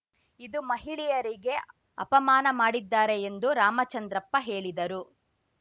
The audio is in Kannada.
ಇದು ಮಹಿಳೆಯರಿಗೆ ಅಪಮಾನ ಮಾಡಿದ್ದಾರೆ ಎಂದು ರಾಮಚಂದ್ರಪ್ಪ ಹೇಳಿದರು